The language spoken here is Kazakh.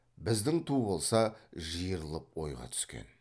біздің ту болса жиырылып ойға түскен